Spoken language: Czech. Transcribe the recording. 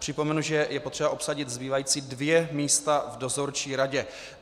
Připomenu, že je potřeba obsadit zbývající dvě místa v dozorčí radě.